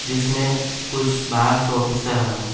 जिसमें कुछ बाहर से ऑफिसर आए हुए हैं।